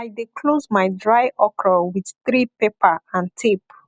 i dey close my dry okra with three paper and tape